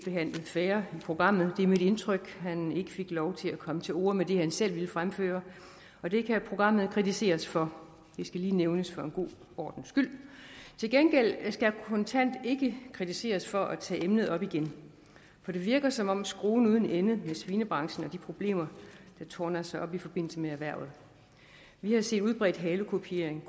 helt fair i programmet det er mit indtryk at han ikke fik lov til at komme til orde med det han selv ville fremføre og det kan programmet kritiseres for det skal lige nævnes for god ordens skyld til gengæld skal kontant ikke kritiseres for at tage emnet op igen for det virker som om det er skruen uden ende med svinebranchen og de problemer der tårner sig op i forbindelse med erhvervet vi har set udbredt halekupering